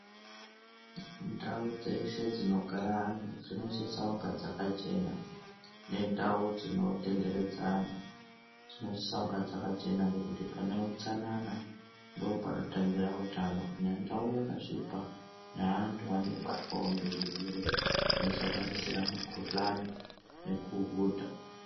Ndau dzeshe dzinogara antu dzinosisa kunga dzakachena nendau dzinotenderedza antu dzinosisa kunge dzakachena ngekuti paneutsanana ndo panotangira utano kana ndau yakasvipa neantu anobatwawo ngezvirwere zvinosanganisira mukhuhlani nekuhudha.